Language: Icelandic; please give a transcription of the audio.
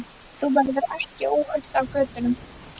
Þú verður ekki óhult á götunum.